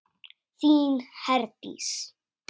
Þín, Herdís.